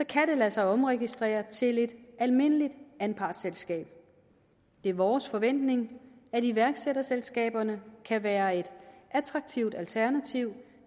kan det lade sig omregistrere til et almindeligt anpartsselskab det er vores forventning at iværksætterselskaberne kan være et attraktivt alternativ